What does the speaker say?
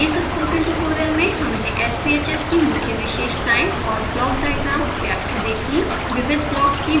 इस spoken tutorial में हमने sbhs की मुख्य विशेषताएं और ब्लॉक डायग्राम व्याख्या देखी